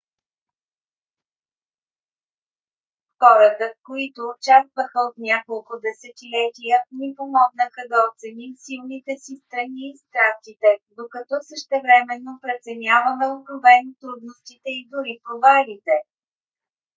хората които участваха от няколко десетилетия ни помогнаха да оценим силните си страни и страстите докато същевременно преценяваме откровено трудностите и дори провалите